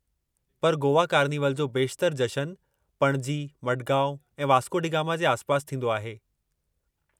पर गोवा कार्निवल जो बेशितरु जशनु पणजी, मडगांव ऐं वास्को डी गामा जे आसिपासि थींदो आहे।